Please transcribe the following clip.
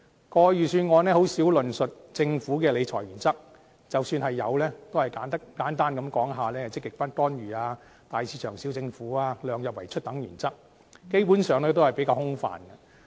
過去的預算案很少論述政府的理財原則，即使有，也只是簡單提出"積極不干預"、"大市場小政府"及"量入為出"等原則，基本上比較空泛。